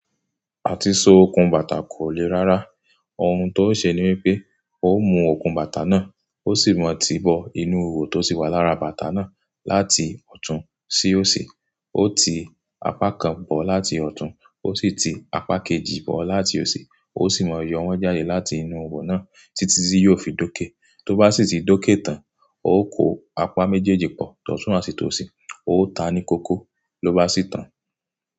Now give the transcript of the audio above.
Àti so okùn bàtà kò le rárá. Ohun tó o ṣe ni wípé o mu okùn bàtà náà, o sì mọ tibọ inú iwo tó ti wà lára bàtà náà láti ọ̀tún sí òsì. O ti apá kan bọ̀ láti ọ̀tún, o sì ti apá kejì bọ̀ láti òsì, o sì mọ yọ̀ wọn jáde láti inú iwo náà títí tí yóò fi dókè. Tó bá sì ti dókè tán, o kó apá méjèèjì pọ̀, tọ̀tún àti tòsì, o ta ní kókó ló bá sì tàn.